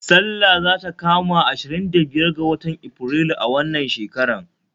Sallah zata kama ashirin da biyar ga watan Aprilu a wannan shekarar